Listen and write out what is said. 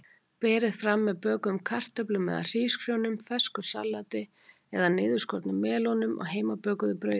Berið fram með bökuðum kartöflum eða hrísgrjónum, fersku salati eða niðurskornum melónum og heimabökuðu brauði.